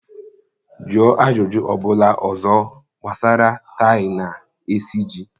Jụọ ajụjụ ọ bụla ọzọ gbasara tie na esiji!